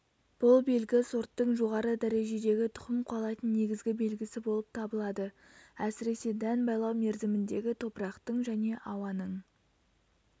бұл белгі сорттың жоғары дәрежедегі тұқым қуалайтын негізгі белгісі болып табылады әсіресе дән байлау мерзіміндегі топырақтың және ауаның